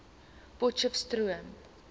potcheftsroom